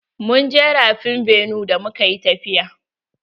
Mun je rafin benue da muka yi tafiya.